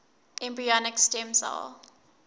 embryonic stem cell